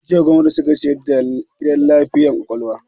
Jiya gwamnati suka sayar da gidan lafiyar kwakwalwa